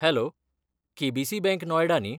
Hello, K B C. Bank Noida न्ही?